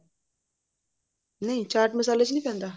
ਨਹੀਂ ਚਾਟ ਮਸਾਲੇ ਚ ਨਹੀਂ ਪੈਂਦਾ